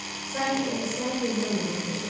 Sanki eləsə yenidən onu itirəcəkdi.